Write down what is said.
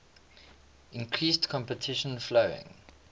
increased competition following